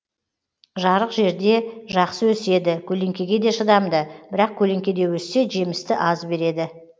жарық жерде жақсы өседі көлеңкеге де шыдамды бірақ көлеңкеде өссе жемісті аз береді